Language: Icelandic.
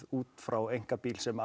út frá einkabíl sem